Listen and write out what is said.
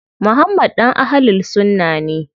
Muhammad ɗan Ahlul sunna ne.